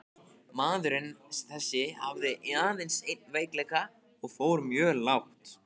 Maður þessi hafði aðeins einn veikleika og fór mjög lágt.